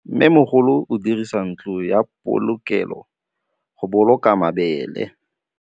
Mmêmogolô o dirisa ntlo ya polokêlô, go boloka mabele.